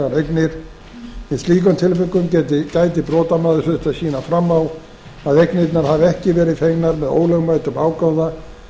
í slíkum tilvikum gæti brotamaður þurft að sýna fram á að eignirnar hafi ekki verið fengnar með ólöglegum ágóða